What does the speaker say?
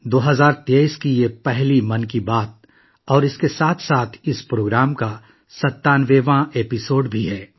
یہ 2023 کی پہلی 'من کی بات' ہے اور اس کے ساتھ یہ پروگرام کی 97ویں کڑی بھی ہے